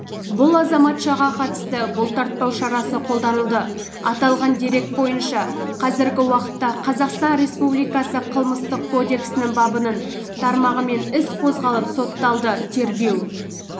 бұл азаматшаға қатысты бұлтартпау шарасы қолданылды аталған дерек бойынша қазіргі уақытта қазақстан республикасы қылмыстық кодексінің бабының тармағымен іс қозғалып соталды тергеу